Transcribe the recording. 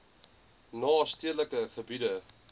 na stedelike gebiede